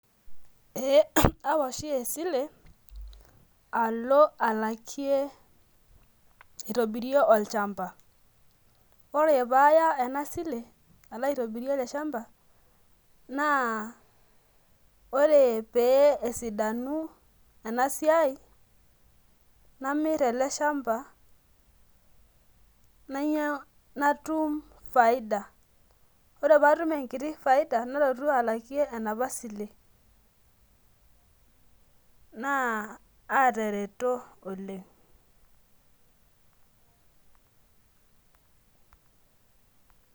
ee awa oshi esile alo aitobirie olchampa. ore pee aya ena sile alo aitobirie ele shampa, naa ore pee esidanu ena siai, namir ele shampa, nainyia, natum faida. ore pee atum enkiti faida nalotu alakie enapa sile, naa atareto oleng'.